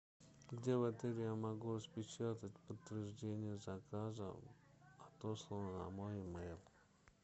где в отеле я могу распечатать подтверждение заказа отосланного на мой емэйл